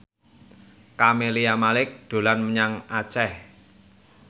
Camelia Malik dolan menyang Aceh